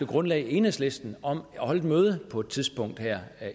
grundlag enhedslisten om at holde et møde på et tidspunkt her